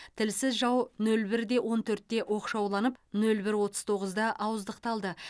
тілсіз жау нөл бір он төртте оқшауланып нөл бір отыз тоғызда ауыздықталды